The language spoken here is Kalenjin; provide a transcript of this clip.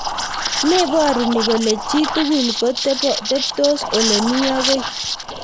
Meporu ni kole chi tugul ko teptos olemii akoi.